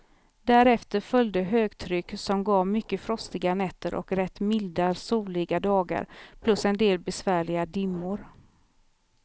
Därefter följde högtryck, som gav mycket frostiga nätter och rätt milda, soliga dagar plus en del besvärliga dimmor.